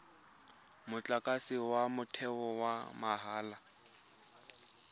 motlakase wa motheo wa mahala